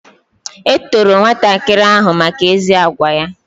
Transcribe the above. E toro nwatakịrị ahụ maka ezi agwa ya